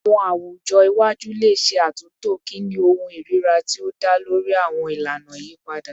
Awọn awujọ iwaju le ṣe atunto kini ohun irira ti o da lori awọn ilana iyipada